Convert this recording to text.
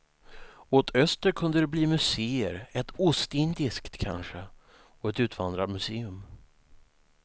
Åt öster kunde det bli museer, ett ostindiskt kanske, och ett utvandrarmuseum.